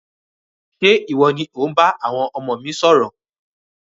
Ṣe iwọ ni o n bá àwọn ọmọ mi sọ̀rọ̀?